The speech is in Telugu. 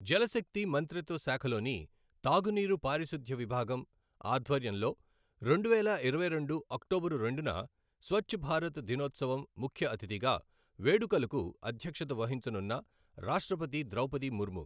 జలశక్తి మంత్రిత్వశాఖలోని తాగునీరు పారిశుధ్య విభాగం ఆధ్వర్యంలో రెండువేల ఇరవైరెండు అక్టోబరు రెండున స్వచ్ఛభారత్ దినోత్సవం ముఖ్యఅతిథిగా వేడుకలకు అధ్యక్షత వహించనున్న రాష్ట్రపతి ద్రౌపది ముర్ము